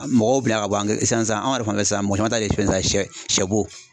Mɔgɔw ka bɔ an sisan sisan an yɛrɛ fanfɛ sisan mɔgɔ caman ta ye fɛn sɛ sɛbo